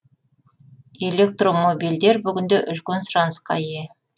электромобильдер бүгінде үлкен сұранысқа ие